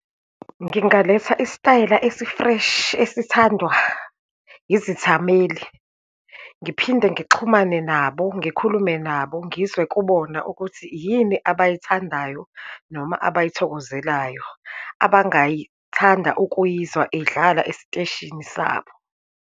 Ngingaletha isitayela esi-fresh esithandwa izithameli. Ngiphinde ngixhumane nabo, ngikhulume nabo, ngizwe kubona ukuthi yini abayithandayo, noma abayithokozelayo, abangayithanda ukuyizwa idlala esiteshini sabo.